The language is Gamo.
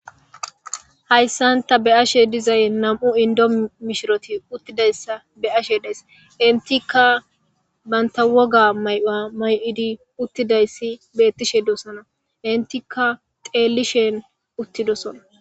hayssan ta be'ashe dizay nam'u indo mishiroti uttidayssa be ashe deys intika banta woga mayuwa mayidi uttidayssi beettishe doossana intikka xeellishen uttidosona